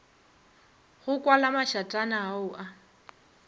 go kwala mašatana ao a